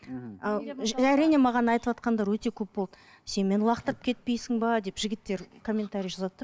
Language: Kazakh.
әрине маған айтыватқандар өте көп болды сен мені лақтырып кетпейсің бе деп жігіттер комментария жазады да